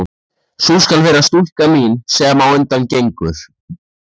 Sú skal vera stúlkan mín, sem á undan gengur.